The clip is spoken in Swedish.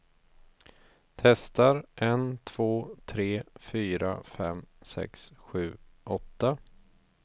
Testar en två tre fyra fem sex sju åtta.